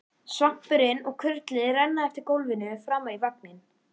Svampurinn og kurlið renna eftir gólfinu framar í vagninn.